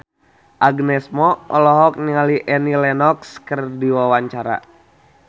Agnes Mo olohok ningali Annie Lenox keur diwawancara